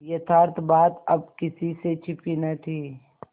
यथार्थ बात अब किसी से छिपी न थी